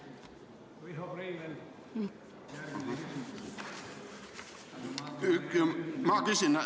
Riho Breivel, järgmine küsimus.